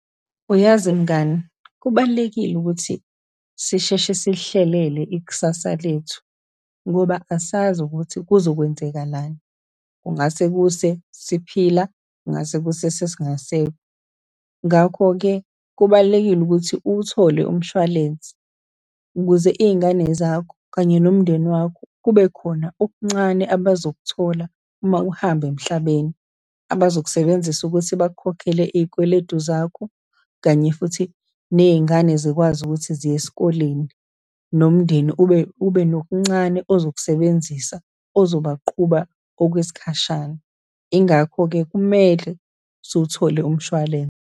Uyazi mngani, kubalulekile ukuthi sisheshe silihlelele ikusasa lethu, ngoba asazi ukuthi kuzokwenzekalani, kungase kuse siphila, kungase kuse sesingasekho. Ngakho-ke kubalulekile ukuthi uwuthole umshwalense, ukuze iy'ngane zakho, kanye nomndeni wakho kubekhona okuncane abazokuthola uma uhamba emhlabeni, abakusebenzisa ukuthi bakukhokhele izikweletu zakho, kanye futhi ney'ngane zikwazi ukuthi ziye esikoleni, nomndeni ube, ube nokuncane ozokusebenzisa, ozobaqhuba okwesikhashana. Yingakho-ke kumele siwuthole umshwalense.